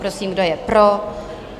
Prosím, kdo je pro?